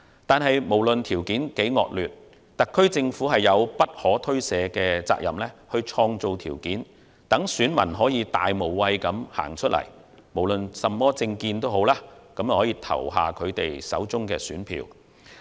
不過，無論條件如何惡劣，特區政府都有不可推卸的責任去創造條件，讓選民能以大無畏精神走出來，不論甚麼政見，投下他們手中的一票。